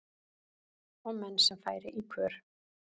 sem menn færi í kör